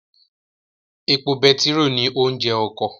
Epo betiró ni oúnjẹ ọkọ